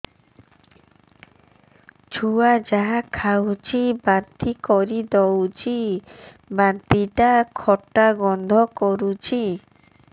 ଛୁଆ ଯାହା ଖାଉଛି ବାନ୍ତି କରିଦଉଛି ବାନ୍ତି ଟା ଖଟା ଗନ୍ଧ କରୁଛି